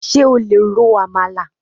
Ṣé o lè ro Amalà?